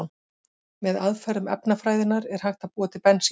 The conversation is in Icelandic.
Með aðferðum efnafræðinnar er hægt að búa til bensín.